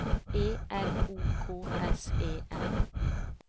E N O K S E N